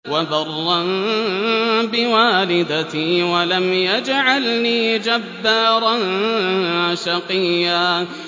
وَبَرًّا بِوَالِدَتِي وَلَمْ يَجْعَلْنِي جَبَّارًا شَقِيًّا